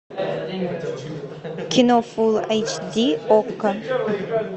кино фулл эйч ди окко